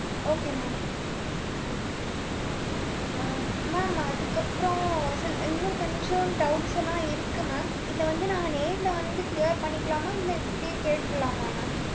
okay mam ah mam அதுக்கு அப்புறம் சில்~ இன்னும் கொஞ்சம் doubts எல்லாம் இருக்கு mam இதை வந்து, நாங்க நேர்ல வந்து clear பண்ணிக்கலாமா? இல்லை, இப்படியே கேட்டறலாமா mam